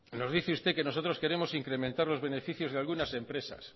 nos dice usted que nosotros queremos incrementar los beneficios de algunas empresas